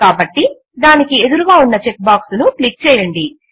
కాబట్టి దానికి ఎదురుగా ఉన్న చెక్ బాక్స్ ను క్లిక్ చేయండి